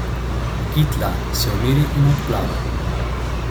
Gitla se umiri in odplava.